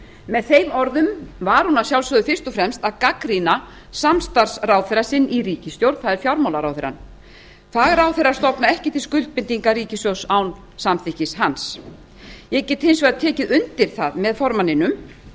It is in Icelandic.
með þeim orðum gagnrýndi hún að sjálfsögðu fyrst og fremst samstarfsráðherra í ríkisstjórninni það er fjármálaráðherrann það er ekki stofnað til skuldbindinga ríkissjóðs án samþykktar hans ég get hins vegar tekið undir það með formanni samfylkingarinnar að